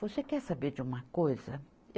Você quer saber de uma coisa?